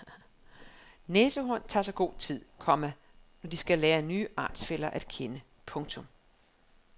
Næsehorn tager sig god tid, komma når de skal lære nye artsfæller at kende. punktum